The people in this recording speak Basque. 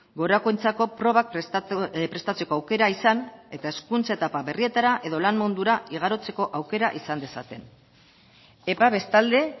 gorakoentzako probak prestatzeko aukera izan eta hezkuntza etapa berrietara edo lan mundura igarotzeko aukera izan dezaten eta bestalde